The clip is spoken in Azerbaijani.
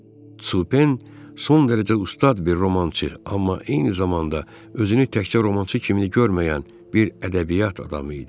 Supen son dərəcə ustad bir romançı, amma eyni zamanda özünü təkcə romançı kimi görməyən bir ədəbiyyat adamı idi.